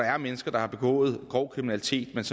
mennesker der har begået grov kriminalitet